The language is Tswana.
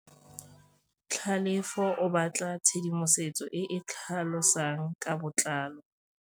Tlhalefô o batla tshedimosetsô e e tlhalosang ka botlalô.